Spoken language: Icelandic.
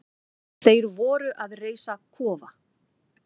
Þeir voru að reisa kofa.